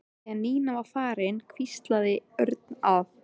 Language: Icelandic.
Þegar Nína var farin hvíslaði Örn að